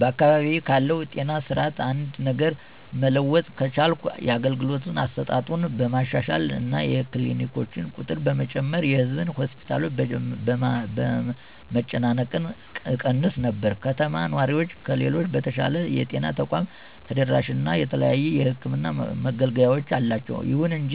በአካባቢዬ ካለው ጤና ስርዓት አንድ ነገር መለወጥ ከቻልኩ የአገልግሎት አሰጣጡን በማሻሻል እና የክሊኒኮችን ቁጥር በመጨመር የህዝብ ሆስፒታሎችን መጨናነቅ እቀንስ ነበር። የከተማ ነዋሪዎች ከሌሎች በተሻለ የጤና ተቋም ተደራሽነት እና የተለያዩ የሕክምን መገልገያወች አላቸው። ይሁን እንጂ